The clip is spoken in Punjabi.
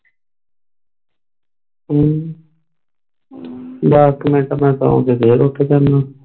ਹਮ ਦਾਸ ਕ ਮਿੰਟ ਮੈਂ ਸੌ ਕੇ ਫੇਰ ਉੱਠ ਜਾਣਾ ਆ